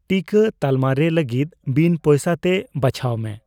ᱴᱤᱠᱟᱹ ᱛᱟᱞᱢᱟ ᱨᱮ ᱞᱟᱹᱜᱤᱫ ᱵᱤᱱ ᱯᱚᱭᱥᱟ ᱛᱮ ᱵᱟᱪᱷᱟᱣ ᱢᱮ ᱾